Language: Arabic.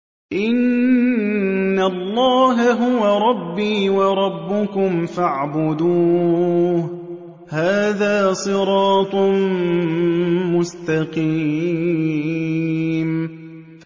إِنَّ اللَّهَ هُوَ رَبِّي وَرَبُّكُمْ فَاعْبُدُوهُ ۚ هَٰذَا صِرَاطٌ مُّسْتَقِيمٌ